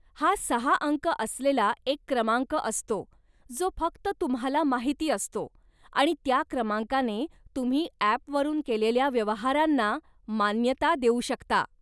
हा सहा अंक असलेला एक क्रमांक असतो जो फक्त तुम्हाला माहिती असतो आणि त्या क्रमांकाने तुम्ही ॲपवरून केलेल्या व्यवहारांना मान्यता देऊ शकता.